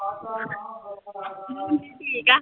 ਮੁੰਨੀ ਠੀਕ ਹੈ।